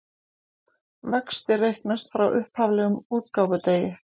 Vextir reiknast frá upphaflegum útgáfudegi